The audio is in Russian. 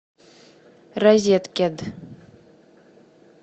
розеткед